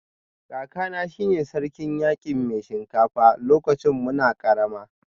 Kakana shi ne Sarkin Yaki Mai Shinkafa lokacin muna karama